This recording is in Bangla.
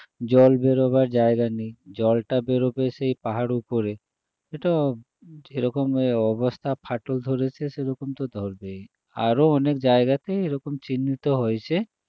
জল বেরোবার জায়গা নেই জলটা বেরোবে সেই পাহাড়ের উপরে এটা এরকম অবস্থা ফাটল ধরেছে, সেরকম তো ধরবেই আরও অনেক জায়গাতে এরকম চিহ্নিত হয়েছে